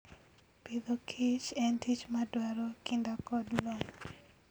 Agriculture and Food en tich madwaro kinda kod lony.